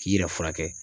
K'i yɛrɛ furakɛ